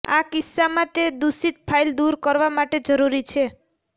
આ કિસ્સામાં તે દૂષિત ફાઇલ દૂર કરવા માટે જરૂરી છે